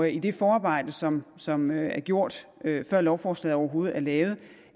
i det forarbejde som som er gjort før lovforslaget overhovedet er lavet